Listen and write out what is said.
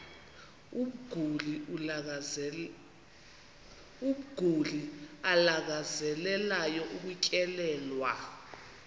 umguli alangazelelayo ukutyelelwa